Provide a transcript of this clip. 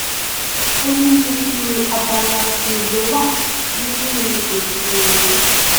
onírúirú abala sì ló wà nínú ètò ọhún